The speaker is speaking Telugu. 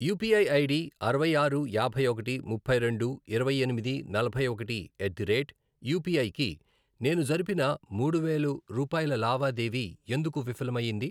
యుపిఐ ఐడి అరవై ఆరు, యాభై ఒకటి, ముప్పై రెండు, ఇరవై ఎనిమిది, నలభై ఒకటి, ఎట్ ది రేట్ యుపిఐ కి నేను జరిపిన మూడు వేలు రూపాయల లావాదేవీ ఎందుకు విఫలం అయ్యింది?